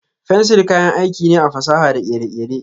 Fensir kayan aiki ne a fasaha da kere-kere.